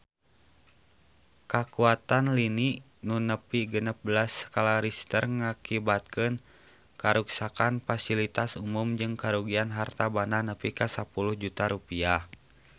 Kakuatan lini nu nepi genep belas skala Richter ngakibatkeun karuksakan pasilitas umum jeung karugian harta banda nepi ka 10 juta rupiah